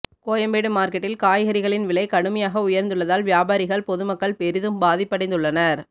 கோயம்பேடு மார்க்கெட்டில் காய்கறிகளின் விலை கடுமையாக உயர்ந்துள்ளதால் வியாபாரிகள் பொதுமக்கள் பெரிதும் பாதிப்படைந்துள்ளனர்